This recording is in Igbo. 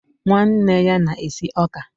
nwanne ya na-esi ọka.